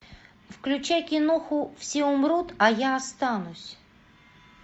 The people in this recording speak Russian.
включай киноху все умрут а я останусь